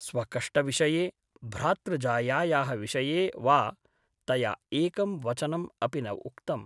स्वकष्टविषये , भ्रातृजायायाः विषये वा तया एकं वचनम् अपि न उक्तम् ।